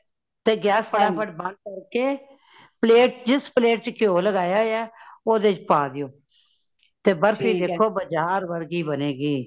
ਤੇ gas ਫਟਾ ਫਟ ਬੰਦ ਕਰਕੇ , plate ਜਿਸ plate ਵਿਚ ਕਯੋ ਲਗਾਯਾ ਹੋਇਆ ਹੈ। ਓਦੇ ਵਿਚ ਪਾ ਦੇਯੋ ,ਤੇ ਬਰਫੀ ਵੇਖੋ ਬਜਾਰ ਵਰਗੀ ਬਨੇਗੀ।